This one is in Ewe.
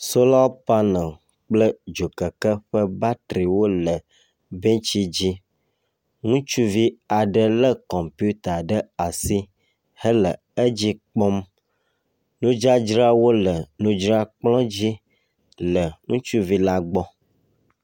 Sola panel kple dzokeke ƒe batri wole bɛntsi dzi, Ŋutsuvi aɖe lé kɔmpita ɖe asi hele edzi kpɔm. Nudzadzrawo le nudzra kplɔ dzi le ŋutsuvi la gbɔ.